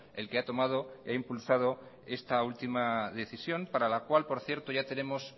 el que ha tomado y ha impulsado esta última decisión para la cual por cierto ya tenemos